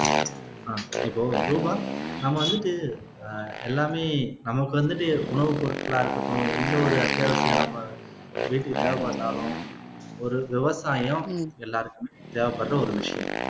ஆஹ் இப்போ ரூபா நாம வந்துட்டு ஆஹ் எல்லாமே நமக்கு வந்துட்டு உணவுப் பொருட்களா இருக்கட்டும் எந்த ஒரு அத்தியாவசியம் நம்ம வீட்டுக்கு தேவைப்பட்டாலும் ஒரு விவசாயம் உம் எல்லாருக்கும் தேவைப்படுற ஒரு விஷயம்